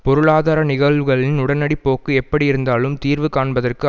பொருளாதார நிகழ்வுகளின் உடனடி போக்கு எப்படி இருந்தாலும் தீர்வு காண்பதற்கு